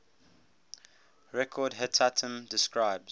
record hetatm describes